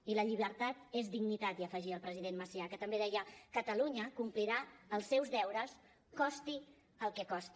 i la llibertat és dignitat hi afegia el president macià que també deia catalunya complirà els seus deures costi el que costi